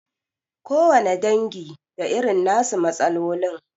Kowane dangi da irin na su matsalolin.